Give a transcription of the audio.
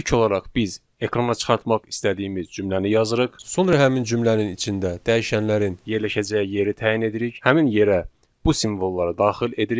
İlk olaraq biz ekrana çıxartmaq istədiyimiz cümləni yazırıq, sonra həmin cümlənin içində dəyişənlərin yerləşəcəyi yeri təyin edirik, həmin yerə bu simvolları daxil edirik.